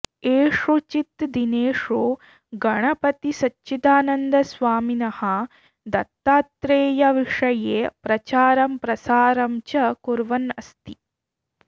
एषुचित् दिनेषु गणपतिसच्चिदानन्दस्वामिनः दत्तात्रेयविषये प्रचारं प्रसारं च कुर्वन् अस्ति